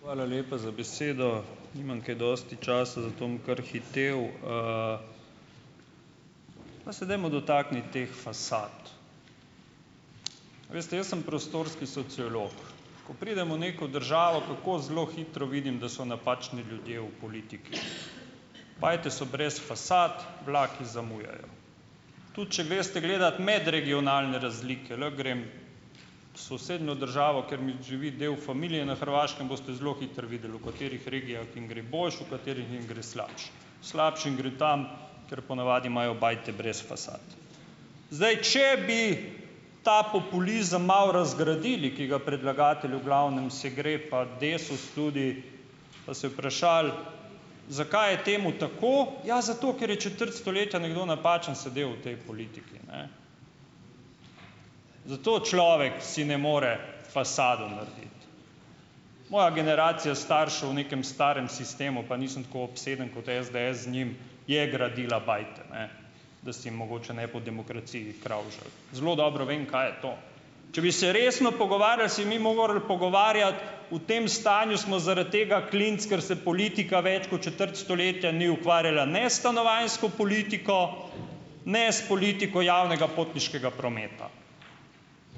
Hvala lepa za besedo. Nimam kaj dosti časa, zato bom kar hitel. Pa se dajmo dotakniti teh fasad. A veste, jaz sem prostorski sociolog. Ko pridem v neko državo, kako zelo hitro vidim, da so napačni ljudje v politiki. Bajte so brez fasad, vlaki zamujajo. Tudi če greste gledat medregionalne razlike, lahko grem v sosednjo državo, ker mi živi del familije na Hrvaškem, boste zelo hitro videli, v katerih regijah jim gre boljše, v katerih jim gre slabše. Slabše jim gre tam, kjer po navadi imajo bajte brez fasad. Zdaj, če bi ta populizem malo razgradili, ki ga predlagatelj v glavnem se gre, pa Desus tudi, pa se vprašali, zakaj je temu tako, ja zato, ker je četrt stoletja nekdo napačen sedel v potem politiki, ne. Zato človek si ne more fasado narediti. Moja generacija staršev v nekem starem sistemu, pa nisem tako obseden kot SDS z njim, je gradila bajte, ne, da si mogoče ne bi v demokraciji kravžljali. Zelo dobro vem, kaj je to. Če bi se resno pogovarjali, si mi morali pogovarjati, v tem stanju smo zaradi tega, klinc, ker se politika več kot četrt stoletja ni ukvarjala ne s stanovanjsko politiko, ne s politiko javnega potniškega prometa.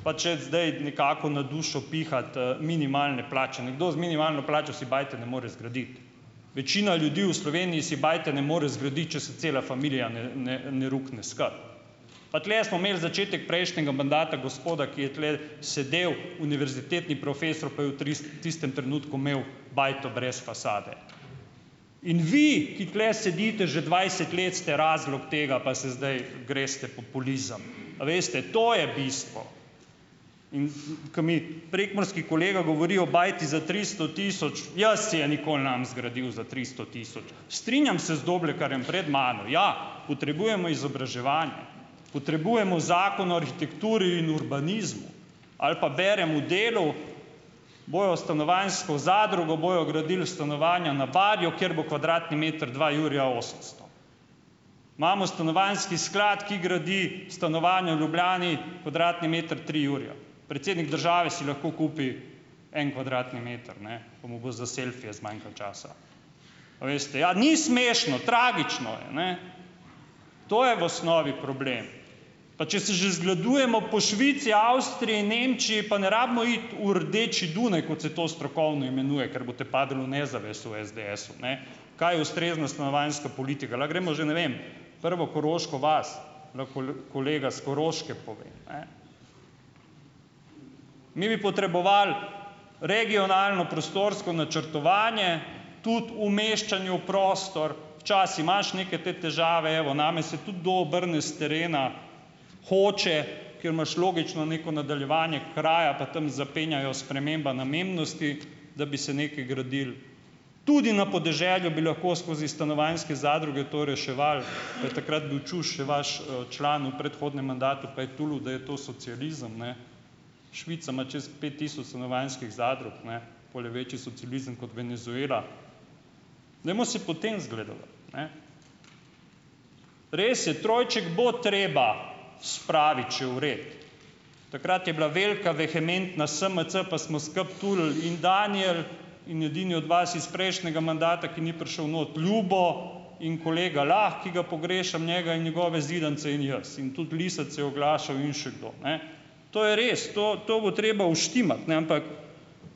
Pa če zdaj nekako na dušo pihati, minimalne plače, nekdo z minimalno plačo si bajte ne more zgraditi. Večina ljudi v Sloveniji si bajte ne more zgraditi, če se cela familija ne ne ne rukne skupaj. Pa tule smo imeli začetek prejšnjega mandata gospoda, ki je tule sedel, univerzitetni profesor, pa je v tistem trenutku imel bajto brez fasade. In vi, ki tule sedite že dvajset let, ste razlog tega, pa se zdaj greste populizem. A veste, to je bistvo. In in ko mi prekmurski kolega govori o bajti za tristo tisoč, jaz si je nikoli ne bom zgradil za tristo tisoč. Strinjam se z Doblekarjem pred mano, ja, potrebujemo izobraževanje, potrebujemo Zakon o arhitekturi in urbanizmu. Ali pa berem v Delu, bojo stanovanjsko zadrugo, bojo gradili stanovanja na Barju, kjer bo kvadratni meter dva jurja osemsto. Imamo stanovanjski sklad, ki gradi stanovanja v Ljubljani, kvadratni meter tri jurje. Predsednik države si lahko kupi en kvadratni meter, ne, pa mu bo za selfije zmanjkalo časa, a veste. Ja, ni smešno, tragično je, ne. To je v osnovi problem. Pa če se že zgledujemo po Švici, Avstriji, Nemčiji, pa ne rabimo iti v rdeči Dunaj, kot se to strokovno imenuje, ker boste padli v nezavest v SDS-u, ne. Kaj je ustrezna stanovanjska politika? Lahko gremo že, ne vem, prvo koroško vas, lahko kolega s Koroške pove, ne. Mi bi potrebovali regionalno prostorsko načrtovanje tudi umeščanju v prostor, včasih imaš neke te težave, evo, name se tudi kdo obrne s terena, hoče, ker imaš logično neko nadaljevanje kraja, pa tam zapenjajo sprememba namembnosti, da bi se nekaj gradilo. Tudi na podeželju bi lahko skozi stanovanjske zadruge to reševali, pa je takrat bil Čuš še vaš, član v predhodnem mandatu, pa je tulil, da je to socializem, ne. Švica ima čas pet tisoč stanovanjskih zadrug, ne. Pol je večji socializem kot Venezuela. Dajmo se po tem zgledovati, ne. Res je, trojček bo treba spraviti še v red. Takrat je bila velika vehementna SMC, pa smo skupaj tulili. In Daniel in edini od vas iz prejšnjega mandata, ki ni prišel not - Ljubo in kolega Lah, ki ga pogrešam, njega in njegove zidanice in jaz in tudi Lisec se je oglašal in še kdo, ne. To je res, to to bo treba uštimati, ne, ampak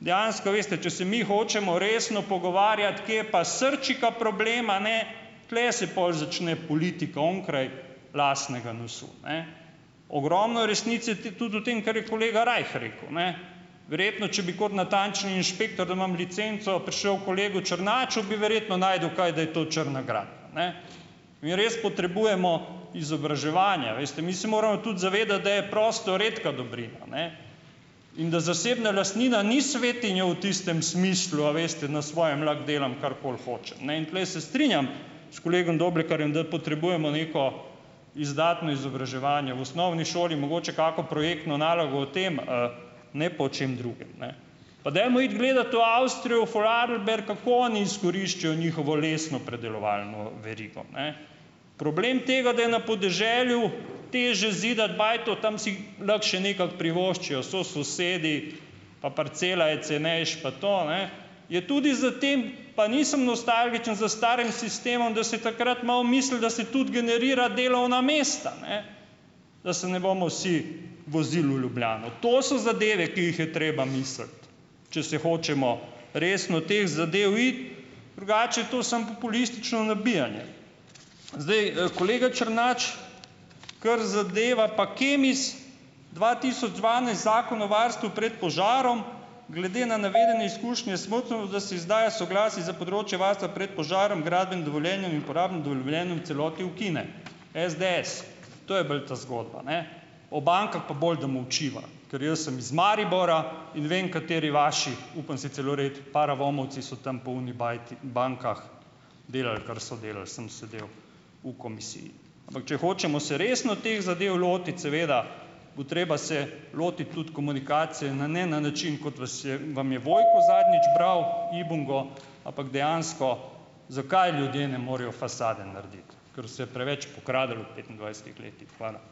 dejansko veste, če se mi hočemo resno pogovarjati, kje je pa srčika problema, ne, tule se pol začne politika onkraj lastnega nosu, ne. Ogromno je resnice tudi v tem, kar je kolega Rajh rekel, ne. Verjetno, če bi kot natančni inšpektor, da imam licenco prišel kolegu Černaču, bi verjetno našel kaj, da je to črna gradnja, ne. Mi res potrebujemo izobraževanje, a veste, mi se moramo tudi zavedati, da je prostor redka dobrina, ne, in da zasebna lastnina ni svetinja v tistem smislu, a veste "na svojem lahko delam karkoli hočem", ne, in tule se strinjam s kolegom Doblekarjem, da potrebujemo neko izdatno izobraževanje. V osnovni šoli mogoče kako projektno nalogo o tem, ne pa o čem drugem, ne. Pa dajmo iti gledat v Avstrijo v Vorarlberg, kako oni izkoriščajo njihovo lesno predelovalno verigo, ne. Problem tega, da je na podeželju težje zidati bajto - tam si lahko še nekako privoščijo, so sosedi, pa parcela je cenejša, pa to, a ne, je tudi za te, pa nisem nostalgičen za starim sistemom, da se je takrat malo mislilo, da se tudi generira delovna mesta, ne, da se ne bomo vsi vozil v Ljubljano. To so zadeve, ki jih je treba misliti, če se hočemo resno teh zadev iti, drugače je to samo populistično nabijanje. Zdaj, kolega Črnač kar zadeva pa Kemis. Dva tisoč dvanajst, Zakon o varstvu pred požarom: "Glede na navedene izkušnje je smotrno, da se izdaja soglasje za področje varstva prej požarom, gradbenim dovoljenjem in uporabnim dovoljenjem v celoti ukine," SDS. To je bolj ta zgodba, ne, o bankah pa bolje, da molčiva, ker jaz sem iz Maribora in vem, kateri vaši, upam si celo reči paravomovci so tam po oni bajti, bankah delali, kar so delali, sem sedel v komisiji. Ampak če hočemo se resno teh zadev lotiti, seveda bo treba se lotiti tudi komunikacije na, ne, na način, kot vas je vam je Vojko zadnjič bral ibungo, ampak dejansko zakaj ljudje ne morejo fasade narediti - kar se je preveč pokradlo v petindvajsetih letih. Hvala.